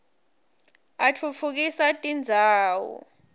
atfutfukisa tindzawo